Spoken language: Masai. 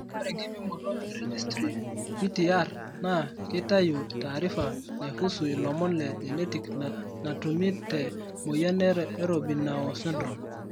Ore enkipimoto e Registry (GTR) naa keitayu taarifa naihusu ilomon le genetic natumi te moyian e Robinow syndrome.